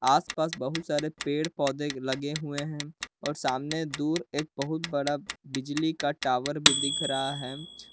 आसपास बहुत सारे पेड़ पौधे लगे हुए हैं और सामने दूर एक बहुत बड़ा बिजली का टावर भी दिख रहा है।